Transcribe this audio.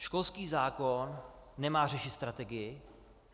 Školský zákon nemá řešit strategii.